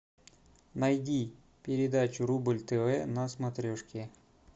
найди передачу рубль тв на смотрешке